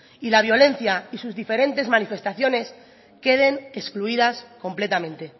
y la violencia y sus diferentes manifestaciones queden excluidas completamente